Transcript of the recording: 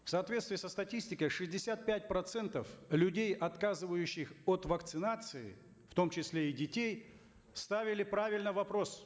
в соответствии со статистикой шестьдесят пять процентов людей отказывающих от вакцинации в том числе и детей ставили правильно вопрос